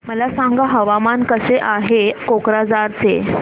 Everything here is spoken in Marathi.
मला सांगा हवामान कसे आहे कोक्राझार चे